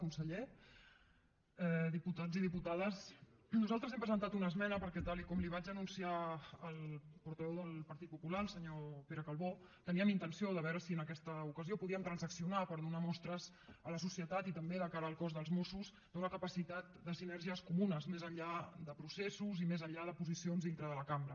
conseller diputats i diputades nosaltres hem presentat una esmena perquè tal com li vaig anunciar al portaveu del partit popular el senyor pere calbó teníem intenció de veure si en aquesta ocasió podíem transaccionar per donar mostres a la societat i també de cara al cos dels mossos d’una capacitat de sinergies comunes més enllà de processos i més enllà de posicions dintre de la cambra